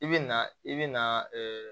I bɛ na i bɛ na